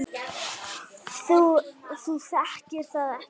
Þú þekkir það ekki!